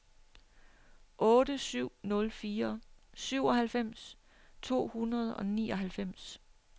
otte syv nul fire syvoghalvfems to hundrede og nioghalvfems